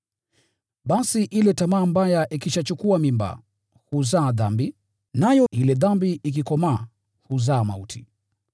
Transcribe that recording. Basi ile tamaa mbaya ikishachukua mimba, huzaa dhambi, nayo ile dhambi ikikomaa, huzaa mauti.